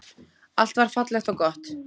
Allt var fallegt og gott.